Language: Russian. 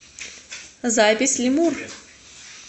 запись лемур